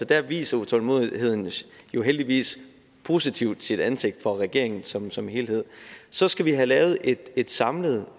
der viser utålmodigheden jo heldigvis positivt sit ansigt for regeringen som som helhed så skal vi have lavet et et samlet